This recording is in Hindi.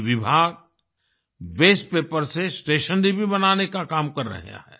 ये विभाग वास्ते पेपर से स्टेशनरी भी बनाने का काम कर रहा है